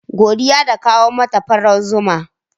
Godiya ta kawo mata farar zomo.